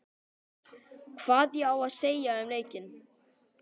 Hvað ég á að segja um leikinn?